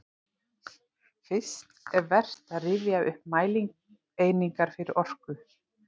Fyrst er vert að rifja upp mælieiningar fyrir orku.